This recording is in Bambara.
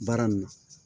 Baara nin na